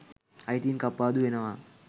අයිතීන් කප්පාදු වෙනවා